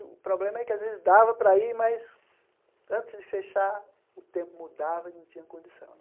O problema é que, às vezes, dava para ir, mas, antes de fechar, o tempo mudava e não tinha condição né.